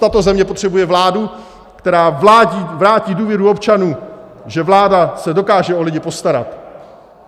Tato země potřebuje vládu, která vrátí důvěru občanům, že se vláda dokáže o lidi postarat.